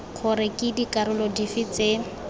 gore ke dikarolo dife tse